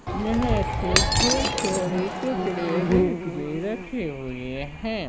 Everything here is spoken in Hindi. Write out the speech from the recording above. यहा पे बहुत सारे कपड़े रॅक मे रखे हुए है।